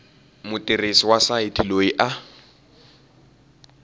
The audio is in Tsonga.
mutirhisi wa sayiti loyi a